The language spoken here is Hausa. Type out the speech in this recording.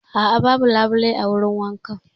A'a, babu labule a wurin wankana.